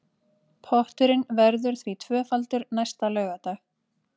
Potturinn verður því tvöfaldur næsta laugardag